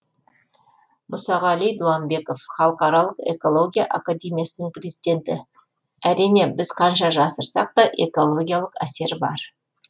мұсағали дуамбеков халықаралық экология академиясының президенті әрине біз қанша жасырсақ та экологиялық әсер бар